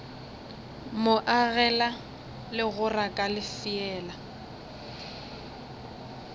mo agela legora ka lefeela